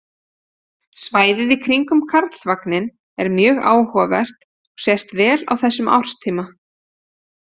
Svæðið í kringum Karlsvagninn er mjög áhugavert og sést vel á þessum árstíma.